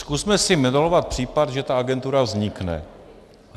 Zkusme si modelovat případ, že ta agentura vznikne.